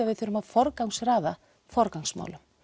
við þurfum að forgangsraða forgangsmálum